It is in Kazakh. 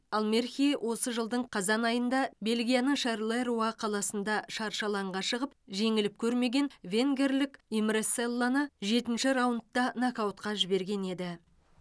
ал мерхи осы жылдың қазан айында бельгияның шарлеруа қаласында шаршы алаңға шығып жеңіліп көрмеген венгерлік имре селлоны жетінші раундта нокаутқа жіберген еді